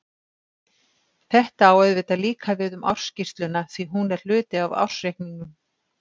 Þetta á auðvitað líka við um ársskýrsluna því að hún er hluti af ársreikningnum.